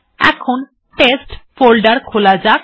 এখন test folder খোলা যাক